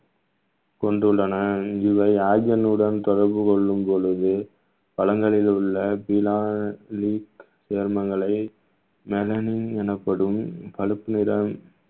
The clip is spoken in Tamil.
கொண்டுள்ளன இவை oxygen உடன் தொடர்பு கொள்ளும் பொழுது பழங்களில் உள்ள சருமங்களை மெலனின் எனப்படும் பழுப்பு நிறம்